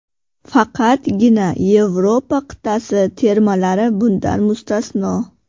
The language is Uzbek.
Faqatgina Yevropa qit’asi termalari bundan mustasno.